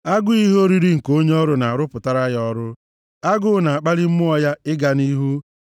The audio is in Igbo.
Agụụ ihe oriri nke onye ọrụ na-arụpụtara ya ọrụ; agụụ na-akpali mmụọ ya ịga nʼihu.